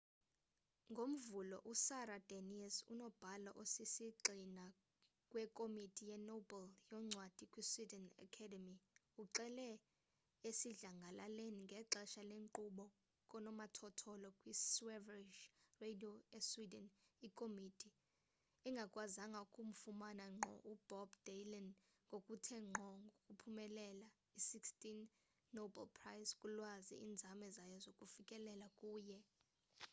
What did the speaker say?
ngomvulo usara danius unobhala osisigxina wekomiti yenobel yoncwadi kwisweden academy uxele esidlangalaleni ngexesha lenkqubo kanomathotholo kwisveriges radio esweden ikomiti engakwazanga ukumfumana ngqo ubob dylan ngokuthe ngqo ngokuphumelela i-2016 nobel prize kulwazi iinzame zayo zokufikelela kuye